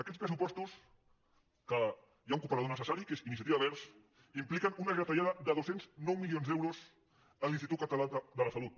aquests pressupostos que hi ha un cooperador necessari que és iniciativa verds impliquen una retallada de dos cents i nou milions d’euros a l’institut català de la salut